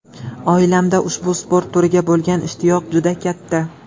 Oilamda ushbu sport turiga bo‘lgan ishtiyoq juda katta.